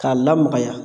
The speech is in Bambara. K'a lamaga